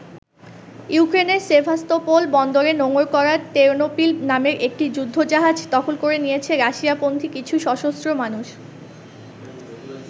ইউক্রেনের সেভাস্তোপোল বন্দরে নোঙর করা ‘তেরনোপিল’ নামের একটি যুদ্ধজাহাজ দখল করে নিয়েছে রাশিয়াপন্থী কিছু সশস্ত্র মানুষ।